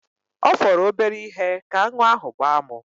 Ọ fọrọ obere ihe ka aṅụ ahụ gbaa mụ.